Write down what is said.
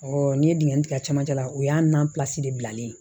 n ye dingɛ tigɛ cɛmancɛ la o y'an nanpilasi de bilalen